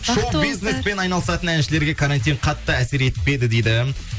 шоу бизнеспен айналысатын әншілерге карантин қатты әсер етпеді дейді